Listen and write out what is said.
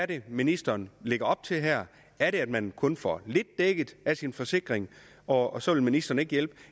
det er ministeren lægger op til her er det at man kun får lidt dækket af sin forsikring og og så vil ministeren ikke hjælpe